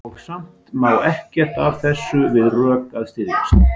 Og samt á ekkert af þessu við rök að styðjast.